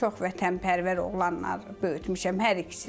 Çox vətənpərvər oğlanları böyütmüşəm hər ikisini.